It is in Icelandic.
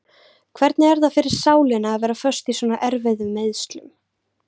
Hvernig er það fyrir sálina að vera föst í svona erfiðum meiðslum?